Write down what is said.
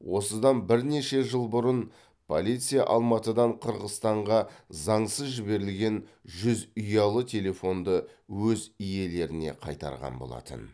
осыдан бірнеше жыл бұрын полиция алматыдан қырғызстанға заңсыз жіберілген жүз ұялы телефонды өз иелеріне қайтарған болатын